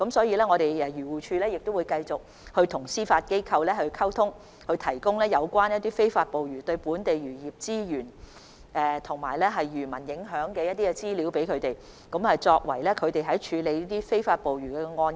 漁護署會繼續與司法機構保持溝通，並提供有關非法捕魚對本地漁業資源及漁民的影響的參考資料，以便司法機構處理非法捕魚案件。